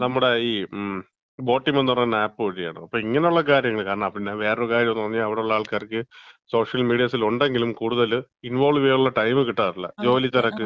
നമ്മടെ ഈ ബോട്ടിമംന്ന് പറയുന്നൊരു ആപ്പ് വഴിയാണ്. അപ്പം ഇങ്ങനെയുള്ളു കാര്യങ്ങള്. അപ്പം പിന്നെ വേറൊരു കാര്യം, അവിടെ ഉള്ള ആൾക്കാർക്ക് സോഷ്യൽ മീഡിയാസിൽ ഉണ്ടെങ്കിലും കൂടുതൽ ഇൻവോൾവ് ചെയ്യാനുള്ള ടൈം കിട്ടാറില്ല. ജോലിതിരക്ക്,